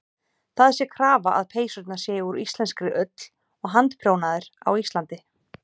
Það sé krafa að peysurnar séu úr íslenskri ull og handprjónaðar á Íslandi.